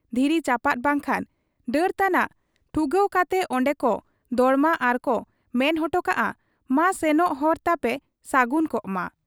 ᱫᱷᱤᱨᱤ ᱪᱟᱯᱟᱫ ᱵᱟᱝᱠᱷᱟᱱ ᱰᱟᱹᱨ ᱛᱟᱱᱟᱜ ᱴᱩᱸᱜᱟᱹᱣ ᱠᱟᱛᱮ ᱚᱱᱰᱮᱠᱚ ᱫᱚᱲᱚᱢᱟ ᱟᱨᱠᱚ ᱢᱮᱱ ᱦᱚᱴᱚ ᱠᱟᱜ ᱟ, ᱢᱟ ᱥᱮᱱᱚᱜ ᱦᱚᱨ ᱛᱟᱯᱮ ᱥᱟᱹᱜᱩᱱ ᱠᱚᱜ ᱢᱟ ᱾